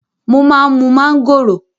Mo má ń mú mángòrò.